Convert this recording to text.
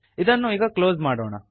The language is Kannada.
ಇದನ್ನು ಈಗ ಕ್ಲೋಸ್ ಮಾಡೋಣ